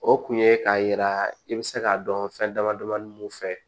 O kun ye k'a yira i bɛ se k'a dɔn fɛn dama damani mun fɛ